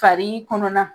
Fari kɔnɔna